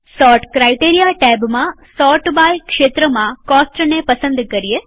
sort criteria ટેબમાંસોર્ટ by ક્ષેત્રમાં કોસ્ટને પસંદ કરીએ